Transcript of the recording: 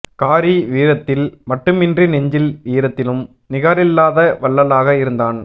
காரி வீரத்தில் மட்டுமின்றி நெஞ்சின் ஈரத்திலும் நிகரில்லாத வள்ளலாக இருந்தான்